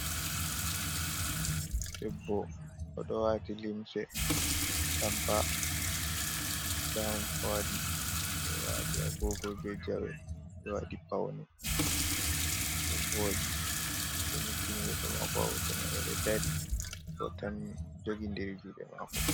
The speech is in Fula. Debbo oɗo wati limse atampa. Gown owadi; oɗo wati agogo be jawe, oɗo waɗi pauni do voɗi. Odo nyukkini yeso mako ha hoto mai. Odo dari bo jogi'ndiri juɗe mako.